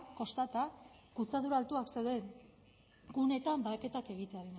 kostata kutsadura altuak zeuden gunetan baheketak egitearena